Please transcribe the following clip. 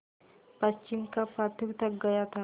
पश्चिम का पथिक थक गया था